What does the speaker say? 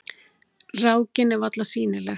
Rákin er varla sýnileg.